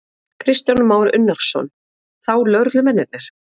Kristján Már Unnarsson: Þá lögreglumennirnir?